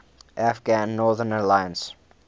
afghan northern alliance